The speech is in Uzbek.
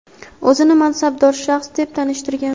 o‘zini mansabdor shaxs deb tanishtirgan.